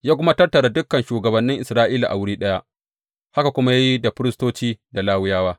Ya kuma tattara dukan shugabannin Isra’ila a wuri ɗaya, haka kuma ya yi da firistoci da Lawiyawa.